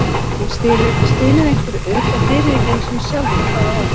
Hann stynur einhverju upp en heyrir ekki einu sinni sjálfur hvað það er.